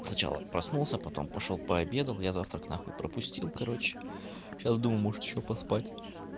сначала проснулся потом пошёл пообедал я завтрак нахуй пропустил короче сейчас думаю может ещё поспать